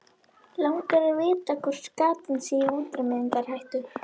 Langar að vita hvort skatan sé í útrýmingarhættu.